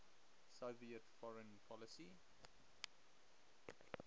soviet foreign policy